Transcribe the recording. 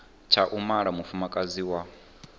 tsha u mala mufumakadzi wa